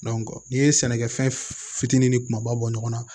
n'i ye sɛnɛkɛfɛn fitinin ni kumaba bɔ ɲɔgɔn na